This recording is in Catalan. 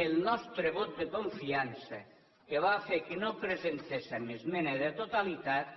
el nostre vot de confiança que va fer que no presentéssem esmena de totalitat